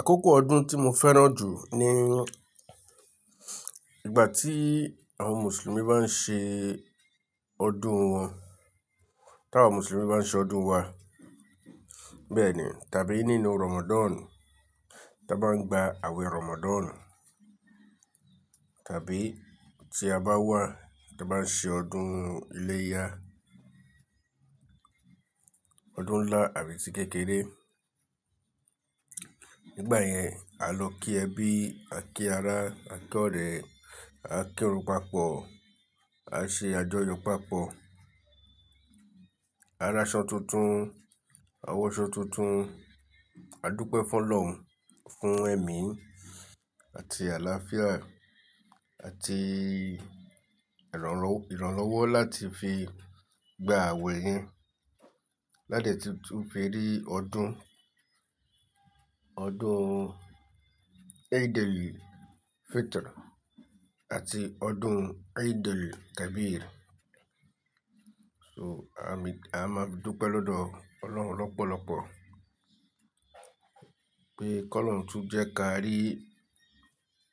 Àkókò ọdún tí mo fẹ́ràn jù ni ìgbà tí àwọn Mùsùlùmí bá ń ṣe ọdún wọn. Tí àwọn Mùsùlùmí bá ń ṣe ọdún wa, bẹ́ẹ̀ ni, tàbí nínú Ramadan, tí a bá ń gba àwẹ̀ Ramadan. Tàbí tí a bá wà tí a bá ń ṣe ọdún iléyá, ọdún ńlá àti kékeré. Nígbà yẹn, a lọ kí ẹbí, a kí ara, a tọrẹ, a kírun papọ̀, a ṣe àjọyọ̀ papọ̀. Ara ṣán tuntun, àwọ̀ asọ tuntun, a dúpẹ́ fún Ọlọ́run fún ẹ̀mí àti àlàáfíà àti ìrànlọ́wọ́, ìrànlọ́wọ́ láti fi gba àwẹ̀ yẹn ládẹ̀ tí tún fí rí ọdún, ọdún Eid-el-Fitr àti ọdún Eid-el-Kabir. So, a máa dúpẹ́ lọ́dọ̀ Ọlọ́run lọ́pọ̀lọ́pọ̀ pé kó lọ́run tún jẹ́ kí a rí